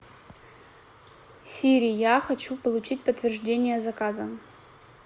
сири я хочу получить подтверждение заказа